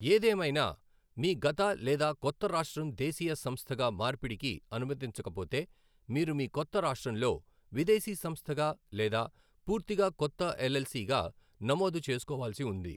ఏదేమైనా, మీ గత లేదా కొత్త రాష్ట్రం దేశీయ సంస్థగా మార్పిడికి అనుమతించకపోతే, మీరు మీ కొత్త రాష్ట్రంలో విదేశీ సంస్థగా లేదా పూర్తిగా కొత్త ఎల్ఎల్సీగా నమోదు చేసుకోవాల్సి ఉంది.